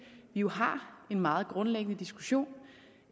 jo har en meget grundlæggende diskussion